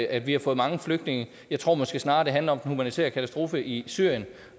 at vi har fået mange flygtninge jeg tror måske snarere det handler om den humanitære katastrofe i syrien